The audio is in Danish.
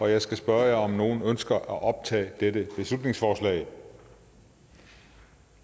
jeg skal spørge om nogen ønsker at optage dette beslutningsforslag